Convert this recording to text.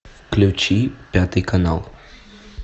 включи пятый канал